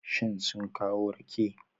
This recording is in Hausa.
Shin sun kawo rake?